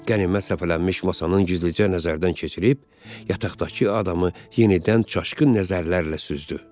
Qənimət səpələnmiş masanın üzlicə nəzərdən keçirib, yataqdakı adamı yenidən çaşqın nəzərlərlə süzdü.